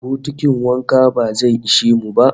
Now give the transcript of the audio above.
Bokitin wanka ba zai ishe mu ba